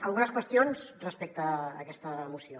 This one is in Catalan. algunes qüestions respecte a aquesta moció